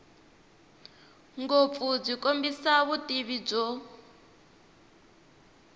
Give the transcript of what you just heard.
ngopfu byi kombisa vutivi byo